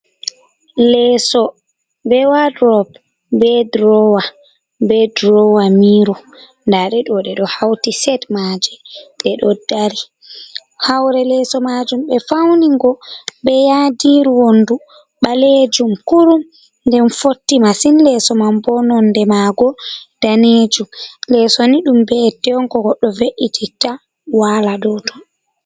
Leeso bee wadroop, bee droowa, bee droowa miiro, ndaaɗe ɗo ɓe ɗo hawti set maaje, ɗe ɗo dari, haa hoore leeso maajum ɓe fawni ngo bee yaadiiru wonndu ɓaleejum kurum nden fotti masin Leeso man boo nonnde maago daneejum, Leesi ni ɗum be'itte ko goɗɗo ve'ititta waala dow ton.